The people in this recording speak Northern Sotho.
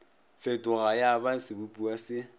fetoga ya ba sebopiwa se